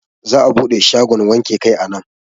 Za'a buɗe shagon wanke kai a nan.